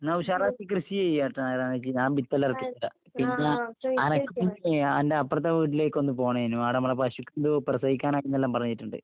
ന്നാ ഉഷാറാക്കി കൃഷി ചെയ്യ് കേട്ടോ നാരായണേച്ചി. ഞാൻ വിത്തെല്ലാം എറക്കിത്തരാം. പിന്നേ അനക്ക് പിന്നെ അന്റെ അപ്പറത്തെ വീട്ടിലേക്കൊന്ന് പോണേനു. ആടെ ഇമ്മടെ പശു എന്തോ പ്രസവിക്കാനായീന്നെല്ലാം പറഞ്ഞിട്ട്ണ്ട്.